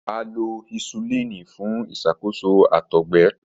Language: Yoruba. A lo hisulini fun iṣakoso àtọgbẹ.